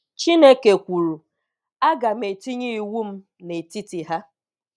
Chineke kwuru, agam etinye iwum netiti ha.